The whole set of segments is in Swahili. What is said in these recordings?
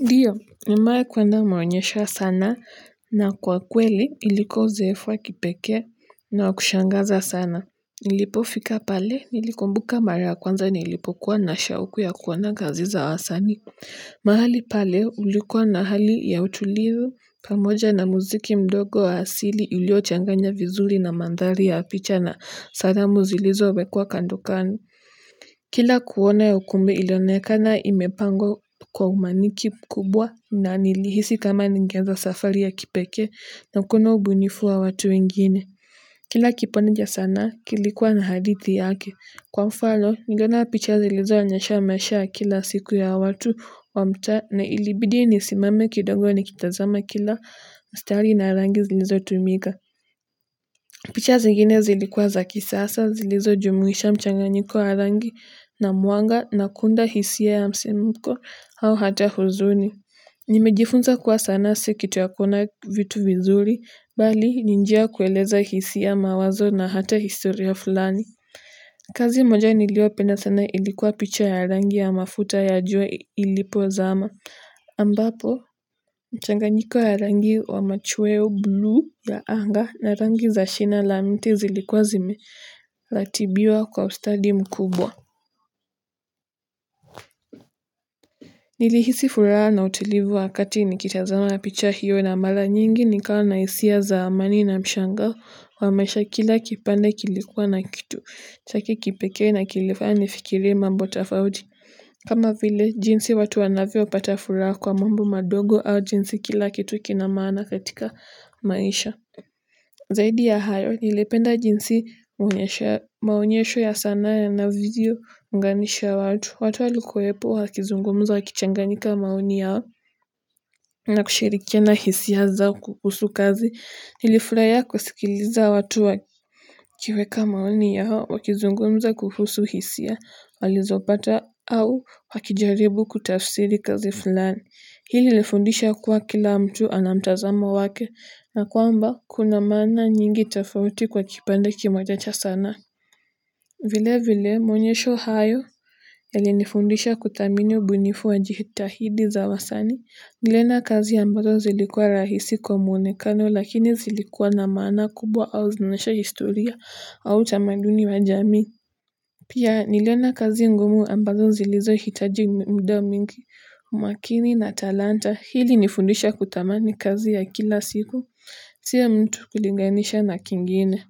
Ndiyo, nimewahi kuenda maonyesho ya sanaa na kwa kweli ilikuwa uzoefu wa kipekee na wa kushangaza sana. Nilipofika pale, nilikumbuka mara ya kwanza nilipokuwa na shauku ya kuona kazi za wasanii. Mahali pale, ulikuwa na hali ya utulivu, pamoja na muziki mdogo wa asili iliyochanganya vizuri na mandhari ya picha na salamu zilizowekwa kando kando. Kila kuona ya ukumbe ilionekana imepangwa kwa umaniki kubwa na nilihisi kama ningeanza safari ya kipekee na kuona ubunifu wa watu wengine kila kipande cha sanaa kilikuwa na hadithi yake kwa mfano niliona picha zilizoonyesha maisha ya kila siku ya watu wa mtaa na ilibidi nisimame kidogo nikitazama kila mstari na rangi zilizotumika picha zingine zilikuwa za kisasa zilizojumuisha mchanganyiko wa rangi na mwanga na kuunda hisia ya msimuko au hata huzuni. Nimejifunza kuwa sanaa si kitu ya kuona vitu vizuri, bali ni njia ya kueleza hisia mawazo na hata historia fulani. Kazi moja niliyopenda sana ilikuwa picha ya rangi ya mafuta ya jua ilipozama. Ambapo, mchanganyiko ya rangi hio wa machweo bluu ya anga na rangi za shina la mti zilikuwa zimeratibiwa kwa ustadi mkubwa. Nilihisi furaha na utulivu wakati nikitazama picha hiyo na mara nyingi nikawa na hisia za amani na mshangao wa maisha kila kipande kilikuwa na kitu. Chake kipekee na kilifanya nifikirie mambo tofauti. Kama vile, jinsi watu wanavyopata furaha kwa mambo madogo au jinsi kila kitu kina maana katika maisha. Zaidi ya hayo, nilipenda jinsi maonyesho ya sanaa na ilivyo unganisha watu. Watu walikuwepo, wakizungumza, wakichanganyika maoni yao na kushirikiana hisia zao kuhusu kazi. Nilifurahia kusikiliza watu wakiweka maoni yao, wakizungumza kuhusu hisia, walizopata au wakijaribu kutafsiri kazi fulani. Hili ilifundisha kuwa kila mtu ana mtazamo wake na kwamba kuna maana nyingi tofauti kwa kipande kimoja cha sanaa. Vile vile, maonyesho hayo yalinifundisha kuthamini ubunifu wa jitahidi za wasanii. Niliona kazi ambazo zilikuwa rahisi kwa mwonekano lakini zilikuwa na maana kubwa au onyesha historia ama utamaduni wa jamii pia niliona kazi ngumu ambazo zilizohitaji muda mingi, umakini na talanta hii ilinifundisha kutamani kazi ya kila siku, si ya mtu kulinganisha na kingine.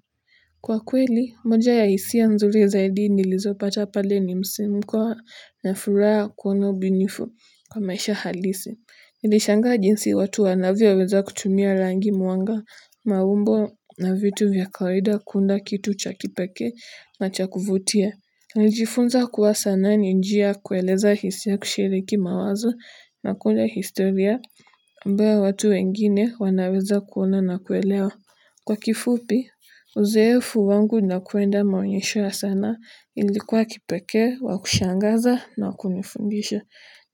Kwa kweli, moja ya hisia nzuri zaidi nilizopata pale ni msimko ya furaha kuona ubinifu kwa maisha halisi. Nilishanga jinsi watu wanavyoweza kutumia rangi mwanga, maumbo na vitu vya kawaida kuunda kitu cha kipekee na cha kuvutia. Nilijifunza kuwa sanaa ni njia ya kueleza hisia kushiriki mawazo na kuunda historia ambayo watu wengine wanaweza kuona na kuelewa. Kwa kifupi, uzoefu wangu na kuenda maonyesho ya sanaa ilikuwa ya kipekee wa kushangaza na wa kunifundisha.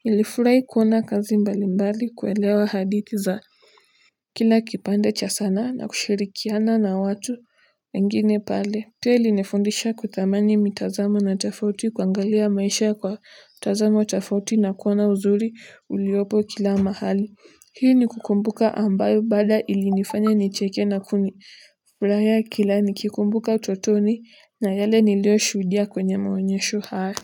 Nilifurahi kuona kazi mbali mbali kuelewa hadithi za. Kila kipande cha sanaa na kushirikiana na watu wengine pale. Pia ilinifundisha kutamani mitazamo na tofauti kuangalia maisha kwa utazamo tofauti na kuona uzuri uliopo kila mahali. Pia ni kukumbuka ambayo baada ilinifanya nicheke na kuni furahia kila nikikumbuka utotoni na yale niliyoshuhudia kwenye maonyesho hayo.